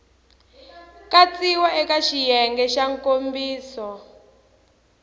katsiwa eka xiyenge xa nkomiso